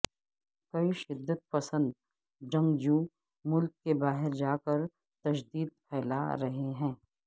کئی شدت پسند جنگجو ملک کے باہر جا کر تشدد پھیلا رہے ہیں